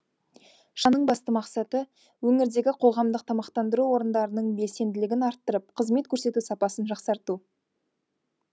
шараның басты мақсаты өңірдегі қоғамдық тамақтандыру орындарының белсенділігін арттырып қызмет көрсету сапасын жақсарту